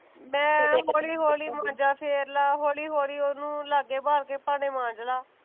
ਮੈਂ ਹੋਲੀ ਹੋਲੀ ਮਾਂਜਾਂ ਫੇਰਲਾ ਹੋਲੀ ਹੋਲੀ ਉਹਨੂੰ ਲਾਗੇ ਬਾਹਲ ਕੇ ਭਾਂਡੇ ਮਾਂਜਲਾ